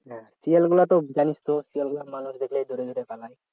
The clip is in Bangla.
শিয়াল গুলো তো জানিস তো মানুষ দেখলে শিয়াল গুলো দৌড়ে দৌড়ে পালায়